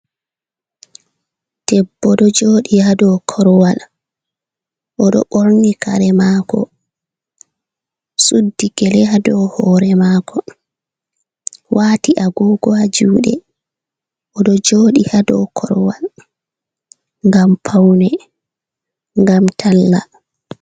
Debbo do jodi ha dow korwal odo borni kare mako suddi gele ha dow hore mako wati agogo ha jude odo jodi ha doa korwal ngam paune ngam talla.